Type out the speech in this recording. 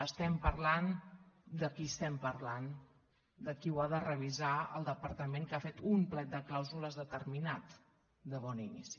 estem parlant de qui estem parlant de qui ho ha de revisar el departament que ha fet un plec de clàusules determinat de bon inici